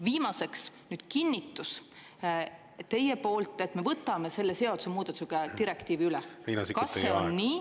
Viimaseks, kinnitus teie poolt, et me võtame selle seadusemuudatusega direktiivi üle – kas on nii?